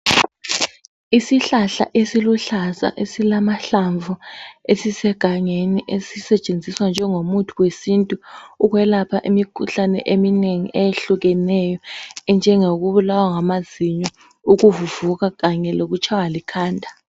Isihlahla esiluhlaza esilamahlamvu esisegangeni esisetshenziswa njengomuthi wesintu ukwelapha imikhuhlane eminengi eyehlukeneyo enjengokubulawa ngamazinyo, ukuvuvuka kanye lokutshaywa likhanda.